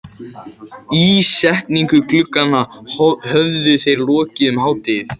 Ísetningu glugganna höfðu þeir lokið um hádegið.